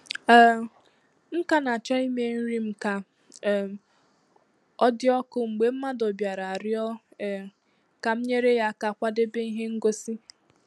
um M ka na-acho ime nri m ka um odị ọkụ mgbe mmadụ bịara rịọ um ka m nyere aka kwadebe ihe ngosi.